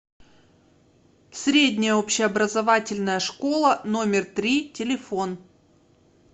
средняя общеобразовательная школа номер три телефон